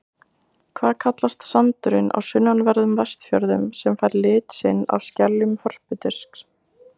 Hvað kallast sandurinn á sunnanverðum Vestfjörðum sem fær lit sinn af skeljum hörpudisks?